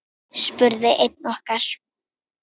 spurði einn okkar.